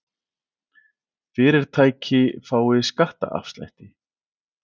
Fyrirtæki fái skattaafslætti